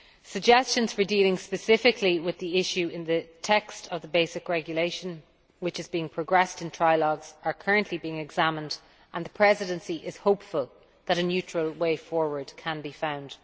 Suggestions for dealing specifically with the issue in the text of the basic regulation which is being progressed in trilogues are currently being examined and the Presidency is hopeful that a neutral way forward can be found.